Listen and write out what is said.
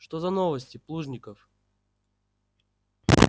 что за новости плужников